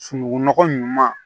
Sunugunɔgɔ ɲuman